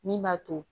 Min b'a to